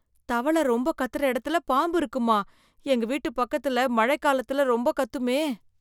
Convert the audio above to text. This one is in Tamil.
தவளை ரொம்ப கத்துற எடத்துல பாம்பு இருக்குமா? எங்க வீட்டு பக்கத்துல மழை காலத்துல ரொம்ப கத்துமே.